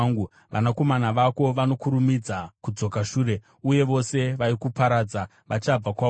Vanakomana vako vanokurumidza kudzoka shure, uye vose vaikuparadza vachabva kwauri.